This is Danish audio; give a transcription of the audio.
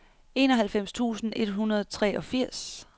enoghalvfems tusind et hundrede og treogfirs